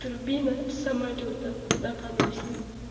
турбина самолёта на поносе